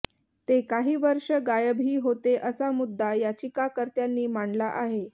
ते काही वर्ष गायबही होते असा मुद्दा याचिकाकर्त्यांनी मांडला आहे